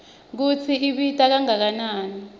kutsi ibita kangakanani